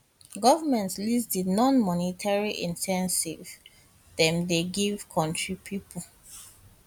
goment list di nonmonetary incentives incentives dem dey give kontri pipo